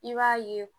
I b'a ye